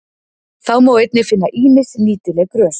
Þá má einnig finna ýmis nýtileg grös.